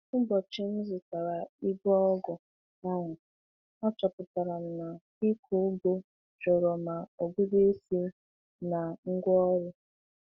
Ụbọchị m zụtara igwe ọgwụ ahụ, achọpụtara m na ịkọ ugbo chọrọ ma ọgụgụ isi na ngwaọrụ.